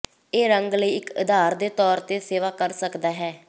ਇਹ ਰੰਗ ਲਈ ਇੱਕ ਆਧਾਰ ਦੇ ਤੌਰ ਤੇ ਸੇਵਾ ਕਰ ਸਕਦਾ ਹੈ